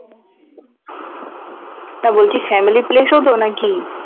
না বলছি family place ও তো নাকি?